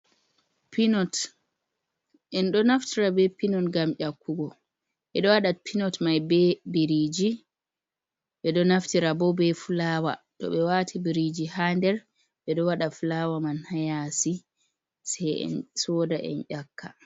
Pinot, en ɗo naftira be pinot gam ƴakkugo ɓe ɗo waɗa pinot mai be biriji ɓeɗo naftira bo be fulawa to ɓe wati biriji ha nder ɓe ɗo waɗa fulawa man hayasi, se en soda en ƴakka.